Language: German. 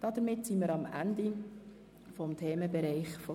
11.a Nachhaltige Entwicklung